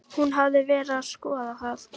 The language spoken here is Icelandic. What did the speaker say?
Hún hafði verið að skoða það.